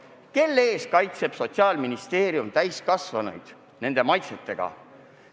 Mille eest kaitseb Sotsiaalministeerium täiskasvanuid, kui keelab need maitsed?